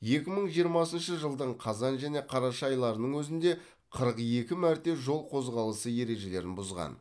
екі мың жиырмасыншы жылдың қазан және қараша айларының өзінде қырық екі мәрте жол қозғалысы ережелерін бұзған